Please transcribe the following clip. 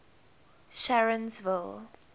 sharonsville